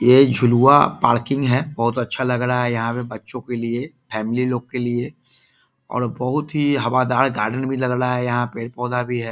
ये झुलुआ पार्किंग है बहोत अच्छा लग रहा है यहां पर बच्चों के लिए फैमिली लोग के लिए और बहोत ही हवादार गार्डन भी लग रहा है यहाँ पे पेड़ पौधा भी है।